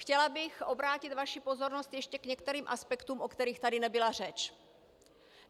Chtěla bych obrátit vaši pozornost ještě k některým aspektům, o kterých tady nebyla řeč.